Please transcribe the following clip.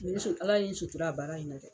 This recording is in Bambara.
Numu muso, ala y'i sutura bana in na dɛ.